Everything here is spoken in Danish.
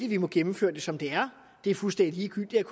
vi må gennemføre det som det er det er fuldstændig ligegyldigt